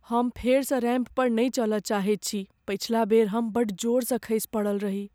हम फेरसँ रैंप पर नहि चलय चाहैत छी। पछिला बेर हम बड़ जोरसँ खसि पड़ल रही।